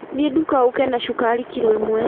Thiĩ nduka ũke na cukari kiro ĩmwe